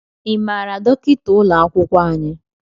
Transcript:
Ị maara dọkịta ụlọ akwụkwọ anyị?